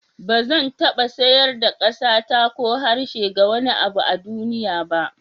Ba zan taba sayar da ƙasata ko harshe ga wani abu a duniya ba.